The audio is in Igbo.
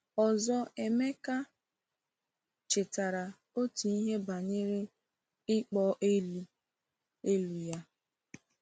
Ọzọ Emeka chetara otu ihe banyere “ịkpọ elu” elu” ya.